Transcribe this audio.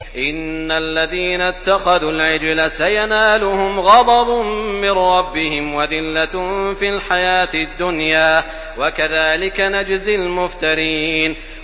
إِنَّ الَّذِينَ اتَّخَذُوا الْعِجْلَ سَيَنَالُهُمْ غَضَبٌ مِّن رَّبِّهِمْ وَذِلَّةٌ فِي الْحَيَاةِ الدُّنْيَا ۚ وَكَذَٰلِكَ نَجْزِي الْمُفْتَرِينَ